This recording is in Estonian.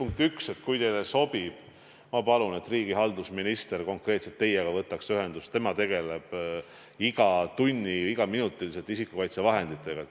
Kõigepealt, kui teile sobib, siis ma palun, et riigihalduse minister võtaks teiega ühendust – tema tegeleb iga tund ja iga minut isikukaitsevahenditega.